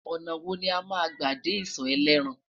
ọnà wò lama gbà dé iso elétàn?